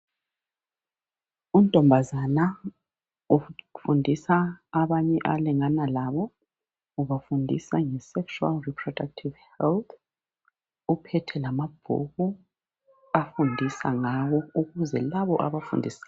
Untombazana ofundisa abanye alingana labo, ubafundisa nge sexual reproductive health. Uphethe lamabhuku afundisa ngawo ukuze labo abafundisa